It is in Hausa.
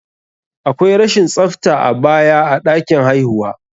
Akwai rashin tsafta a baya a ɗakin haihuwa.